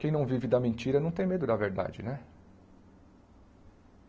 Quem não vive da mentira não tem medo da verdade, né?